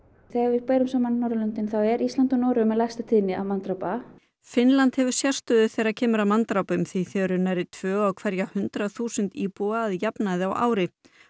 þegar við berum saman Norðurlöndin þá er Ísland og Noregur með lægsta tíðni manndrápa Finnland hefur sérstöðu þegar kemur að manndrápum því þau eru nærri því tvö á hverja hundrað þúsund íbúa að jafnaði á ári